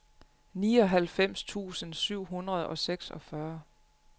nioghalvfems tusind syv hundrede og seksogfyrre